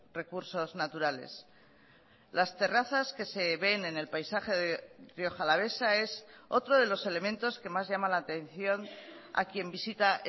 recursos naturales las terrazas que se ven en el paisaje de rioja alavesa es otro de los elementos que más llama la atención a quien visita